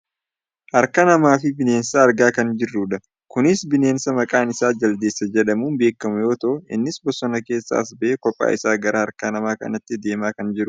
Harka namaa fi bineensa argaa kan jirrudha. Kunis bineensa maqaan isaa jaldeesaa jedhamuun beekkamu yoo ta'u innis bosona keessaa as bahee kophaa isaa gara harka nama kanaatti deemaa kan jirudha.